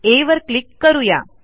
आ वर क्लिक करू या